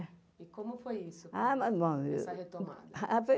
É. E como foi isso, essa retomada?